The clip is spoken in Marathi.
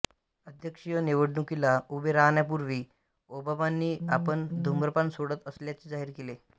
अध्यक्षीय निवडणुकीला उभे राहण्यापूर्वी ओबामांनी आपण धुम्रपान सोडत असल्याचे जाहीर केले